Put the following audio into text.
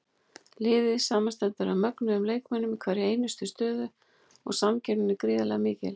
Liðið samanstendur af mögnuðum leikmönnum í hverri einustu stöðu og samkeppnin er gríðarlega mikil.